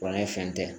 Banke fɛn tɛ